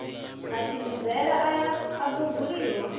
matshimbidzele aya a do buliwa